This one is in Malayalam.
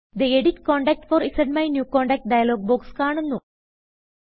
തെ എഡിറ്റ് കോണ്ടാക്ട് ഫോർ ZMyNewContactഡയലോഗ് ബോക്സ് കാണുന്നു